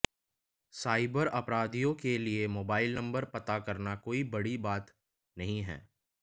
cyber अपराधियों के लिए मोबाइल नंबर पता करना कोई बड़ी बात नहीं है